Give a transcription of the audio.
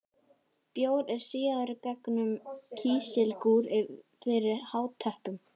Bjór er síaður gegnum kísilgúr fyrir átöppun.